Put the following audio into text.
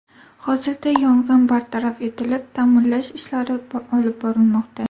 Hozirda yong‘in bartaraf etilib, ta’mirlash ishlari olib borilmoqda.